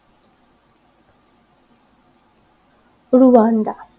Rwanda